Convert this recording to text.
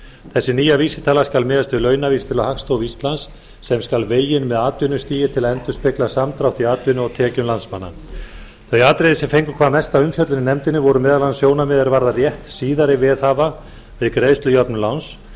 þessi nýja vísitala skal miðast við launavísitölu hagstofu íslands sem skal vegin með atvinnustigi til að endurspegla samdrátt í atvinnu og tekjum landsmanna þau atriði sem fengu hvað mesta umfjöllun í nefndinni voru meðal annars sjónarmið er varða rétt síðari veðhafa við greiðslujöfnun láns